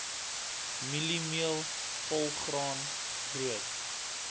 mieliemeel volgraan brood